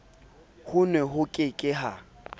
hono ho ke ke ha